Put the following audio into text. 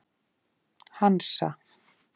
Hansa